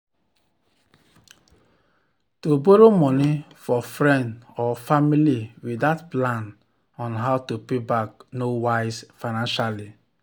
to borrow money for friend or family without plan on how to pay back no wise financially.